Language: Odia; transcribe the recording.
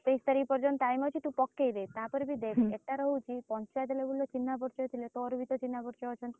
ଅଛି ସତେଇଶ ତାରିଖ୍ ପର୍ଯନ୍ତ time ଅଛି ତୁ ପକେଇଦେ ତାପରେ ବି ଦେଖେ ଏଟାର ହଉଚି ପଞ୍ଚାୟତ label ରେ ଚିହ୍ନା ପରିଚୟ ଥିଲେ ତୋର ବି ତ ଚିହ୍ନ ପରିଚିତ ଅଛନ୍ତି?